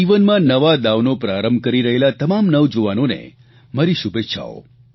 જીવનમાં નવા દાવનો પ્રારંભ કરી રહેલા તમામ નવજુવાનોને મારી શુભેચ્છાઓ